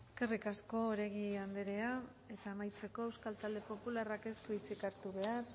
eskerrik asko oregi anderea eta amaitzeko euskal talde popularrak ez du hitzik hartu behar